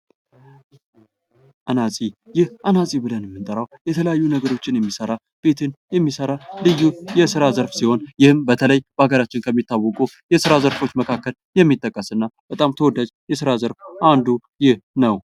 አናፂ ብለን የምንጠራው የተለያዩ ቤቶችን የሚሰሩ ልዩ የስራ ዘርፍ ሲሆን በሀገራችን ከሚታወቁ ይስሩ ዘርፎች መካከል የሚጠቀስ ነው ።